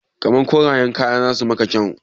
Kamar korayen kaya zasu yi maka kyau